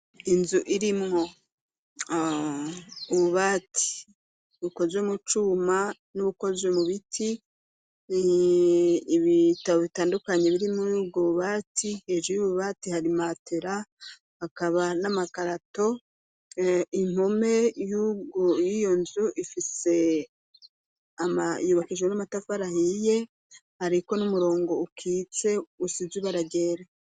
Inzu irimwo ububati bukozwe mu cuma n'ubukozwe mu biti, ibitabo bitandukanye biri muri ubwo bubati, hejuru y'ububati hari imatera, hakaba n'amakarato, impome y'iyo nzu ifise yubakishujwe n'amatafari ahiye, hariko n'umurongo ukitse usize ibara ryera.